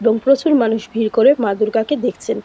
এবং প্রচুর মানুষ ভিড় করে মা দূর্গাকে দেখছেন।